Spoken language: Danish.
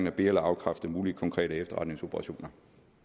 at be eller afkræfte mulige konkrete efterretningsoperationer